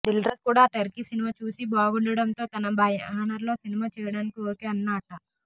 దిల్రాజు కూడా Turkey cinema చూసి బాగుండటంతో తన బ్యానర్లో సినిమా చేయడానికి ఓకే అన్నాట్ట